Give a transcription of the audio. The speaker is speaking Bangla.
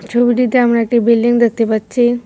ছবিটিতে আমরা একটি বিল্ডিং দেখতে পাচ্ছি।